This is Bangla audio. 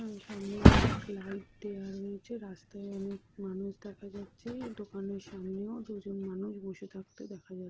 এবং সামনে অনেক লাইট দেওয়া রয়েছে রাস্তায় অনেক মানুষ দেখা যাচ্ছে এই দোকানের সামনেও দুজন মানুষ বসে থাকতে দেখা যা--